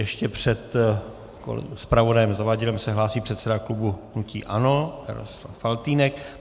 Ještě před zpravodajem Zavadilem se hlásí předseda klubu hnutí ANO Jaroslav Faltýnek.